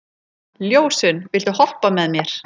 Ljósunn, viltu hoppa með mér?